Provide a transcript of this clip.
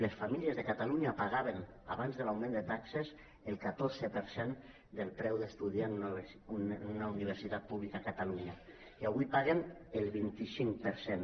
les famílies de catalunya pagaven abans de l’augment de taxes el catorze per cent del preu d’estudiar en una universitat pública a catalunya i avui paguen el vint cinc per cent